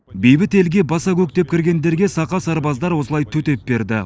бейбіт елге баса көктеп кіргендерге сақа сарбаздар осылай төтеп берді